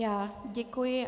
Já děkuji.